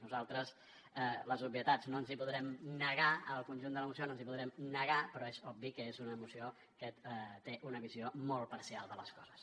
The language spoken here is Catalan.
nosaltres a les obvietats no ens hi podrem negar al conjunt de la moció no ens hi podrem negar però és obvi que és una moció que té una visió molt parcial de les coses